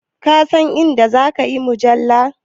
Ka san a inda zan siyi mujalla?